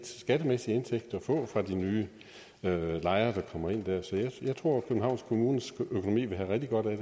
skattemæssig indtægt at få fra de nye lejere der kommer ind der så jeg tror københavns kommunes økonomi vil have rigtig godt af